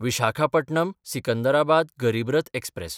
Visakhapatnam Secunderabad Garib Rath express